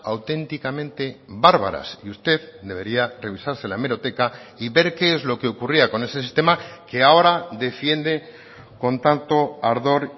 auténticamente bárbaras y usted debería revisarse la hemeroteca y ver qué es lo que ocurría con ese sistema que ahora defiende con tanto ardor